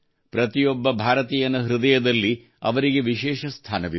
ಪ್ರತಿಯೊಬ್ಬ ಭಾರತೀಯನ ಹೃದಯದಲ್ಲಿ ಅವರಿಗೆ ವಿಶೇಷ ಸ್ಥಾನವಿದೆ